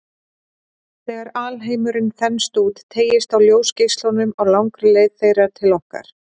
Þegar alheimurinn þenst út, teygist á ljósgeislunum á langri leið þeirra til okkar.